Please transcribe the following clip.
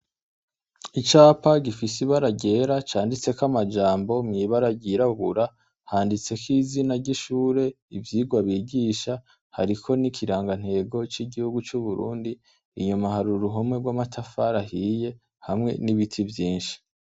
Icapa gifise ibara ryera canditseko amajambo mw'ibara ry'irabura. Handitseko izina ry'ishure n'ivyigwa bigisha hariko n'ikirangantego c'igihugu c'Uburundi inyuma hari uruhome rw'amatafari ahahiye hamwe n'ibiti vyinshi.